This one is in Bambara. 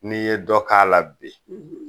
N'i ye dɔ k'a la bi